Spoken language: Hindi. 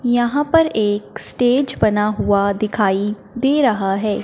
यहां पर एक स्टेज बना हुआ दिखाई दे रहा हैं।